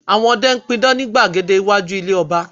Àwọn ọdẹ n pidán ni gbàgede iwájú ilé ọba